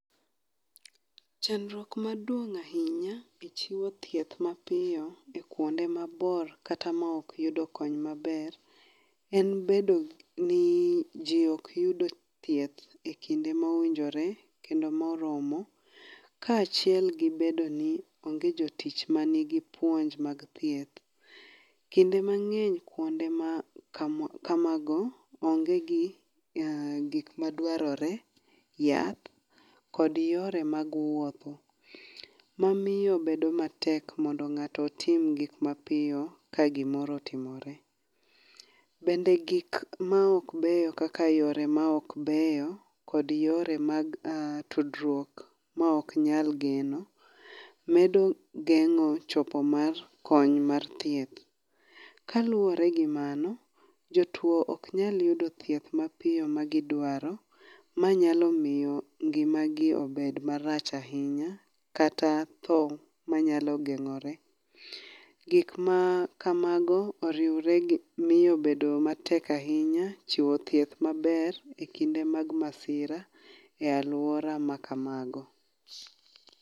Chandruok maduong' ahinya e chiwo thieth mapiyo e kuonde mabor kata maok yudo kony maber, en bedo ni ji ok yudo thieth e kinde ma owinjore kendo moromo kaachiel gi bedo ni onge jotich manigi puonj mag thieth. Kinde mang'eny kuonde ma kamago, onge gi gik madwarore, yath kod yore mag wuotho mamiyo bedo matek mondo ng'ato otim gik mapiyo ka gimoro otimore. Bende gik maok beyo kaka yore maok beyo kod yore mag tudruok ma ok nyal geno medo geng'o chopo mar kony mar thieth. Kaluwore gi mano, jotuo oknyal yudo thieth mapiyo ma gidwaro, ma nyalo miyo ngimagi obed marach ahinya kata tho manyalo geng'ore. Gikmakamago oriwre gi miyo bedo matek ahinya chiwo thieth maber e kinde mag masira e alwora ma kamago.